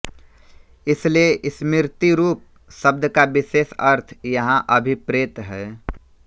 इसलिए स्मृतिरूप शब्द का विशेष अर्थ यहाँ अभिप्रेत है